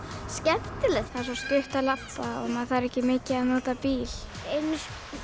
skemmtilegt það er svo stutt að labba maður þarf ekki mikið að nota bíl einu